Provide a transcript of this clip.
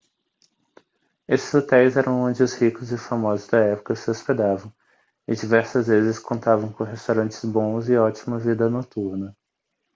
estes hotéis eram onde os ricos e famosos da época se hospedavam e diversas vezes contavam com restaurantes bons e ótima vida noturna